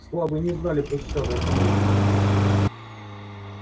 слабые не знали пощады от него